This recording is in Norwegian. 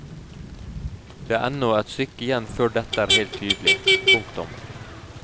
Det er ennå et stykke igjen før dette er helt tydelig. punktum